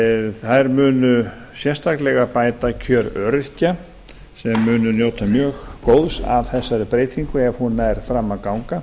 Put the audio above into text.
þær munu sérstaklega bæta kjör öryrkja sem munu njóta mjög góðs af þessari breytingu ef hún nær fram að ganga